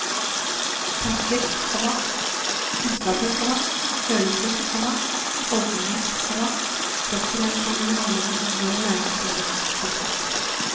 Tanker, komma kunnskaper, komma følelser, komma holdninger, komma kroppsreaksjoner og handlinger inngår i læringsprosessen. punktum